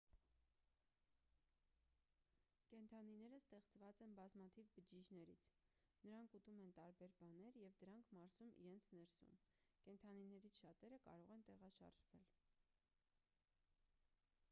կենդանիները ստեղված են բազմաթիվ բջիջներից նրանք ուտում են տարբեր բաներ և դրանք մարսում իրենց ներսում կենդանիներից շատերը կարող են տեղաշարժվել